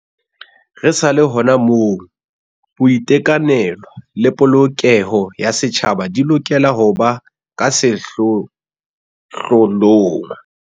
Re sa le hona moo, boiteka nelo le polokeho ya setjhaba di lokela ho ba ka sehlohlo long.